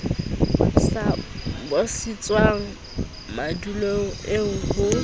sa busetswang madulong eo ho